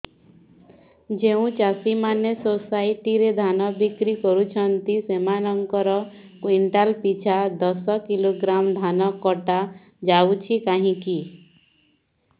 ଯେଉଁ ଚାଷୀ ମାନେ ସୋସାଇଟି ରେ ଧାନ ବିକ୍ରି କରୁଛନ୍ତି ସେମାନଙ୍କର କୁଇଣ୍ଟାଲ ପିଛା ଦଶ କିଲୋଗ୍ରାମ ଧାନ କଟା ଯାଉଛି କାହିଁକି